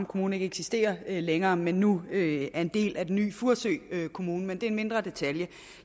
kommune ikke eksisterer længere men nu er en del af den nye furesø kommune men det er en mindre detalje